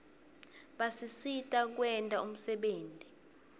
basisita kwenta umsebenti